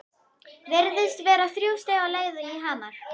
Virðast vera þrjú stig á leið í Hamar?